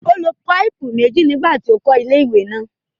Ó lo páìpù méjì nígbà tí ó ń kọ́ ilé-ìwẹ̀ náà.